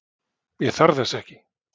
Ég þarf þess ekki.